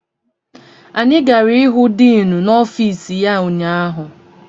Anyị gara ịhụ diinu n'ọfiisi ya ụnyaahụ.